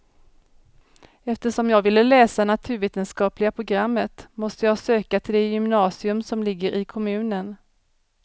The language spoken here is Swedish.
Eftersom jag ville läsa naturvetenskapliga programmet måste jag söka till det gymnasium som ligger i kommunen.